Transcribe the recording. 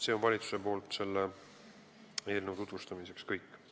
See on valitsuse poolt selle eelnõu tutvustamiseks kõik.